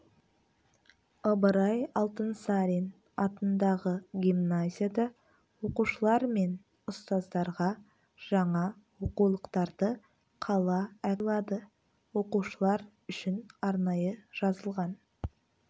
ыбырай алтынсарин атындағы гимназияда оқушылар мен ұстаздарға жаңа оқулықтарды қала әкімі сыйлады оқушылар үшін арнайы жазылған